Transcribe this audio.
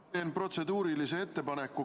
Ma teen protseduurilise ettepaneku.